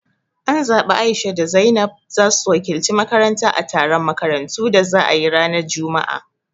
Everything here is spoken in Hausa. An zabi A'isha da Zainab zasu wakilci makaranta a taron makarantu da za ayi ranar juma'a